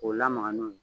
K'o lamaga n'o ye